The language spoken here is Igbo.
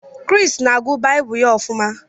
Chris na-agụ Baịbụl ya ofuma